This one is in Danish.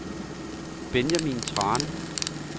Benjamin Thrane